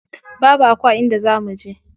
Babu Aku a inda za muje.